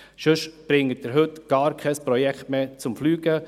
Sonst bringen Sie heute gar kein Projekt mehr zum Fliegen.